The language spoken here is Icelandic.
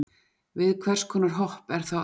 Við hvers konar hopp er þá átt?